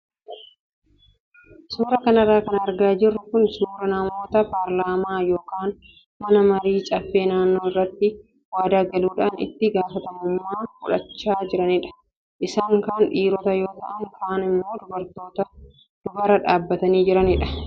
Suuraa kanarra kan argaa jirru kun suuraa namoota paarlaamaa yookaan mana marii caffee naannoo irratti waadaa galuudhaan itti gaafatamummaa fudhachaa jiranidha. Isaan kaan dhiirota yoo ta'an kaan immoo dubartoota duubarra dhaabbatanii jiranidha.